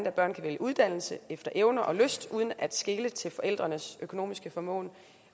at børn kan vælge uddannelse efter evner og lyst uden at skele til forældrenes økonomiske formåen